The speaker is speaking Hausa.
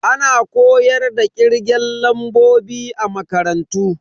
Ana koyar da kirgen lambobi a makarantu.